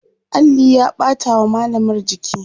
alli ya ɓata wa mallamar jiki